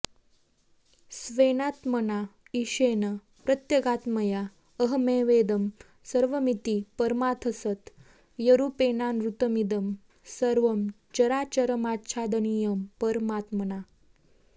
स्वेनात्मना ईशेन प्रत्यगात्मतया अहमेवेदं सर्वमिति परमार्थसत्यरूपेणानृतमिदं सर्वं चराचरमाच्छादनीयं परमात्मना